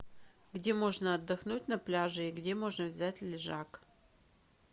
где можно отдохнуть на пляже и где можно взять лежак